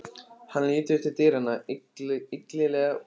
Hann lítur til dyranna, illilega brugðið.